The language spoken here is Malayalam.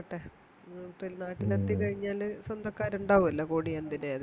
ക്കട്ടെ പിള്ളാരൊത്തുകഴിഞ്ഞാല് സ്വന്തക്കാരുണ്ടാവുഅലോ